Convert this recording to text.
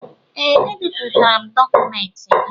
Ee, ebipụtara m dọkụmentị gị